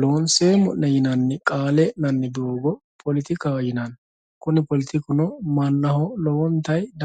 loonseemmo'ne yinanni qaale e'nanni doogo politikaho yinanni kuni politikuno mannaho lowontayii.